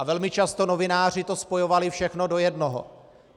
A velmi často novináři to spojovali všechno do jednoho.